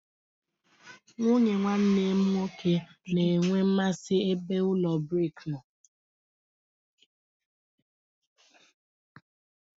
Nwunye nwanne m nwoke na-enwe mmasị ebe ụlọ brik nọ.